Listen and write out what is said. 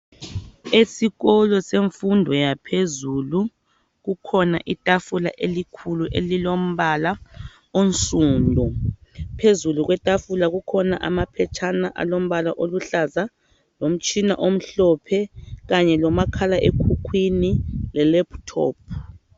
Esikolo semfundo yaphezulu kukhona itafula elikhulu elilombala onsundu phezulu kwetafuna kukhona amaphetshana alombala oluhlaza ,lomtshina omhlophe kanye lomakhala ekhukwini le lephuthophu.